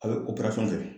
A bɛ fɛ